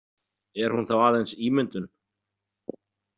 Er hún þá aðeins ímyndun?